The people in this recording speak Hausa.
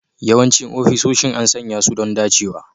Yawancin ofisoshin an sanya su don dacewa